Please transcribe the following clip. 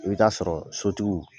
I bɛ taa sɔrɔ sotigiw.